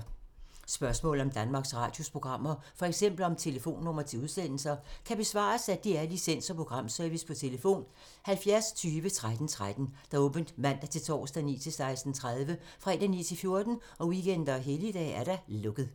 Spørgsmål om Danmarks Radios programmer, f.eks. om telefonnumre til udsendelser, kan besvares af DR Licens- og Programservice: tlf. 70 20 13 13, åbent mandag-torsdag 9.00-16.30, fredag 9.00-14.00, weekender og helligdage: lukket.